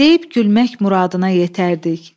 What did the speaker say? Deyib gülmək muradına yetərdik.